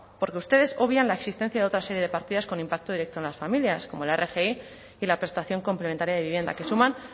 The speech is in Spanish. porque ustedes obvian la existencia de otra serie de partidas con impacto directo en las familias como la rgi y la prestación complementaria de vivienda que suman